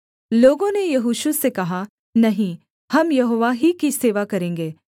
लोगों ने यहोशू से कहा नहीं हम यहोवा ही की सेवा करेंगे